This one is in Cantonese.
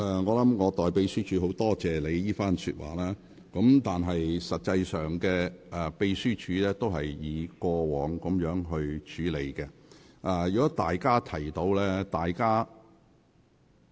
我代秘書處感謝你為他們說話，秘書處是一如以往盡責處理有關事務。